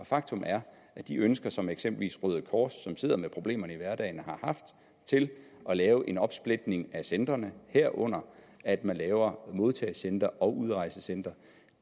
faktum er at de ønsker som eksempelvis røde kors som sidder med problemerne i hverdagen har haft til at lave en opsplitning af centrene herunder at man laver modtagecentre og udrejsecentre